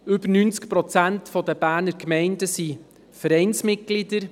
Mehr als 90 Prozent der Berner Gemeinden sind Vereinsmitglieder.